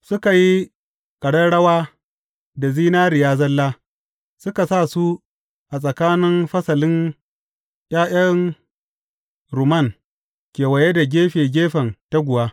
Suka yi ƙararrawa da zinariya zalla, suka sa su a tsakanin fasalin ’ya’yan rumman kewaye da gefe gefen taguwa.